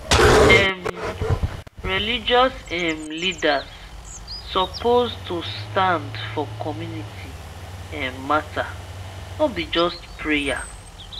um religious um leaders suppose take stand for community um matter no be just prayer.